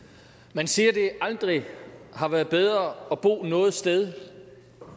man siger at det aldrig har været bedre at bo noget sted